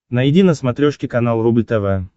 найди на смотрешке канал рубль тв